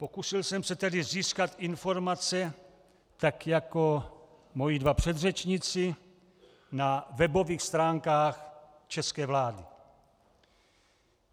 Pokusil jsem se tedy získat informace, tak jako moji dva předřečníci, na webových stránkách české vlády.